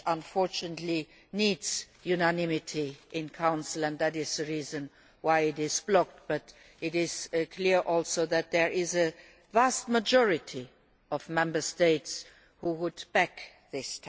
Unfortunately, this text needs unanimity in Council and that is the reason why it is blocked, but it is clear also that there is a vast majority of Member States who would back it.